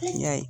Y'a ye